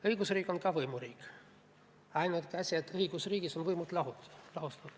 Õigusriik on ka võimuriik, ainult õigusriigis on võimud lahus.